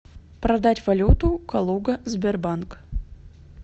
продать валюту калуга сбербанк